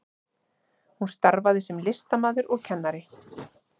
Hún starfaði sem listamaður og kennari